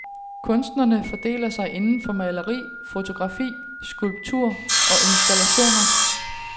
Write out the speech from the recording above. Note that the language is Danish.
Kunstnerne fordeler sig inden for maleri, fotografi, skulptur og installationer.